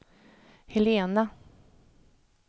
Helena